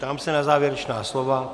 Ptám se na závěrečná slova.